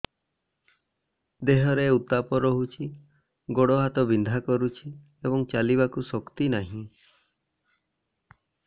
ଦେହରେ ଉତାପ ରହୁଛି ଗୋଡ଼ ହାତ ବିନ୍ଧା କରୁଛି ଏବଂ ଚାଲିବାକୁ ଶକ୍ତି ନାହିଁ